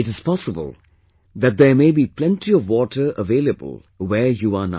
It is possible that there may be plenty of water available where you are now